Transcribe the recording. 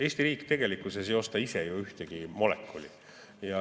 Eesti riik tegelikkuses ei osta ise ju ühtegi molekuli.